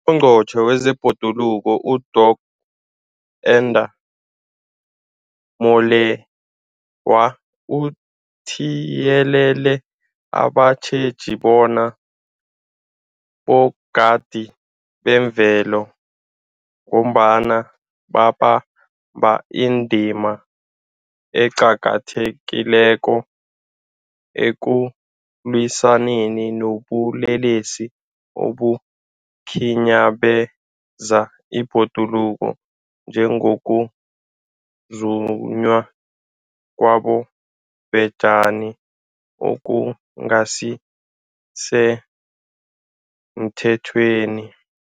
UNgqongqotjhe wezeBhoduluko uDorh Edna Molewa uthiyelele abatjheji bona 'bogadi bezemvelo' ngombana babamba indima eqakathekileko ekulwisaneni nobulelesi obukhinyabeza ibhoduluko, njengokuzunywa kwabobhejani okungasisemthethweni.